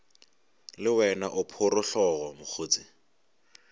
le wena o phorogohlo mokgotse